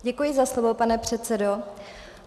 Děkuji za slovo, pane předsedo.